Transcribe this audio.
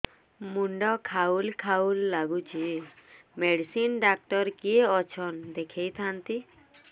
ମୁଣ୍ଡ ଖାଉଲ୍ ଖାଉଲ୍ ଡାକୁଚି ମେଡିସିନ ଡାକ୍ତର କିଏ ଅଛନ୍ ଦେଖେଇ ଥାନ୍ତି